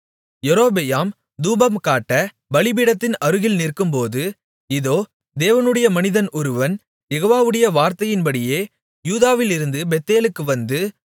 யெரொபெயாம் தூபம் காட்ட பலிபீடத்தின் அருகில் நிற்கும்போது இதோ தேவனுடைய மனிதன் ஒருவன் யெகோவாவுடைய வார்த்தையின்படியே யூதாவிலிருந்து பெத்தேலுக்கு வந்து